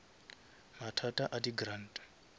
mathata a di grant